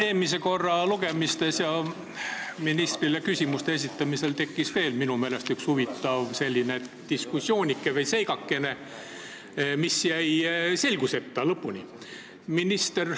Eelmisel korral tekkis ministrile küsimuste esitamisel minu meelest veel üks huvitav diskussioonike või seigakene, mis jäi lõpuni selguseta.